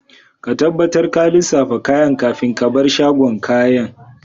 Ka tabbatar ka lissafa kayan kafin ka bar shagon kayan.